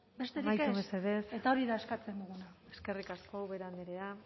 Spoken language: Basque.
besterik ez amaitu mesedez eta hori da eskatzen genuena eskerrik asko ubera andrea